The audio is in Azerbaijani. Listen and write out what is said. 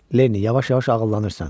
Lenni yavaş-yavaş ağıllanırsan.